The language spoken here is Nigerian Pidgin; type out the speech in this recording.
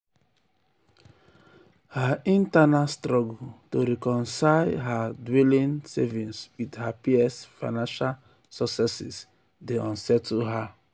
her internal struggle um to reconcile um to reconcile her dwindling savings with her peers' financial successes dey unsettle her.